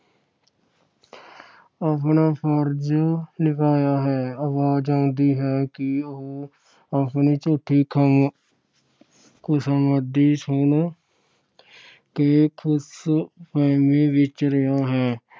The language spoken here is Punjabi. ਆਪਣਾ ਫਰਜ ਨਿਭਾਇਆ ਹੈ। ਆਵਾਜ ਆਉਂਦੀ ਹੈ ਕਿ ਉਹ ਆਪਣੀ ਝੂਠੀ ਖਮ ਅਹ ਖੁਸ਼ਾਮਦੀ ਸੁਣ ਕੇ ਖੁਸ਼ ਫਹਿਮੀ ਵਿੱਚ ਰਿਹਾ ਹੈ।